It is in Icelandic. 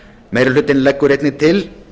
meiri hlutinn leggur einnig til